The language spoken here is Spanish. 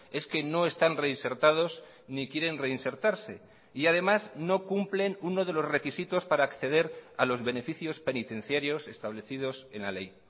es que no están reinsertados ni quieren reinsertarse y además no cumplen uno de los requisitos para acceder a los beneficios penitenciarios establecidos en la ley